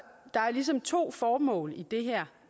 ligesom to formål i det her